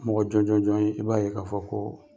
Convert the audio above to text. Mɔgɔ jɔn jɔn jɔn ye , i b'a ye ka fɔ ko